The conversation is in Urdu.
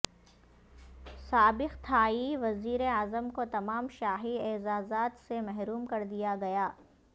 سابق تھائی وزیراعظم کو تمام شاہی اعزازات سے محروم کر دیا گیا